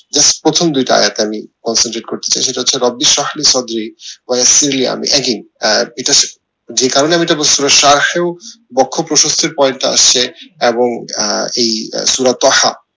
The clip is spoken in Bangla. just প্রথম দুইটা সেটা হচ্ছে যে কারণে আমি এটা বক্ষ প্রশস্তের point টা আসছে এবং এই